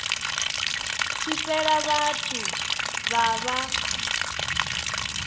tshi fhela vhathu vha vha